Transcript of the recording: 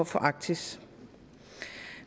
for arktis